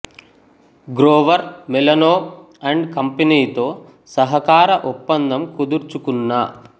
Grover Melano and company తో సహకార ఒప్పందం కుదుర్చుకున్న